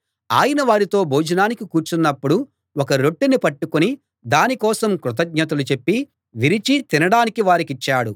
ఆయన వారితో భోజనానికి కూర్చున్నప్పుడు ఒక రొట్టెను పట్టుకుని దానికోసం కృతజ్ఞతలు చెప్పి విరిచి తినడానికి వారికిచ్చాడు